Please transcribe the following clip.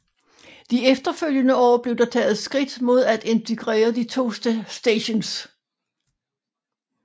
De efterfølgende år blev der taget skridt mod at integrere de to stations